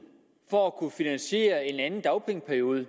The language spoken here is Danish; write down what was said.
for at kunne finansiere en anden dagpengeperiode